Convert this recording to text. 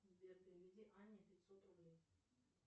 сбер переведи анне пятьсот рублей